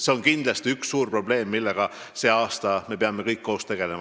See on kindlasti üks suur probleem, millega me sel aastal peame kõik koos tegelema.